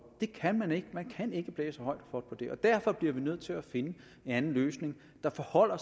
det kan man ikke man kan ikke blæse højt og flot på det og derfor bliver vi nødt til at finde en anden løsning der forholder